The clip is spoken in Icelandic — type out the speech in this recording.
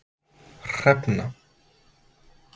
Hrefna